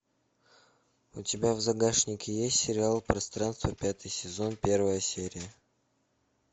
у тебя в загашнике есть сериал пространство пятый сезон первая серия